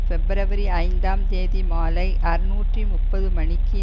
பிப்ரவரி ஐந்தாம் தேதி மாலை அறுநூற்று முப்பது மணிக்கு